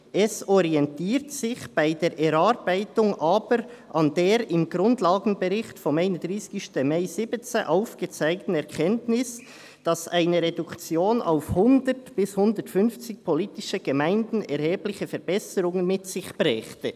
«Es orientiert sich bei der Erarbeitung aber an der im Grundlagenbericht vom 31. Mai 2017 aufgezeigten Erkenntnis, dass eine Reduktion auf 100 bis 150 politische Gemeinden erhebliche Verbesserungen mit sich brächte.»